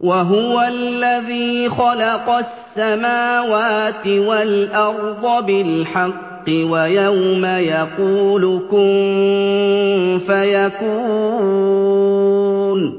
وَهُوَ الَّذِي خَلَقَ السَّمَاوَاتِ وَالْأَرْضَ بِالْحَقِّ ۖ وَيَوْمَ يَقُولُ كُن فَيَكُونُ ۚ